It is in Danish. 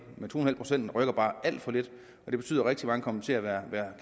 men to en halv procent rykker bare alt for lidt og det betyder at rigtig mange kommer til at være